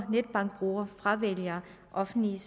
netbankbruger fravælger offentlige